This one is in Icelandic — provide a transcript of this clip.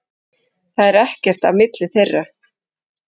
Það er ekkert á milli þeirra.